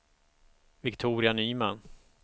Viktoria Nyman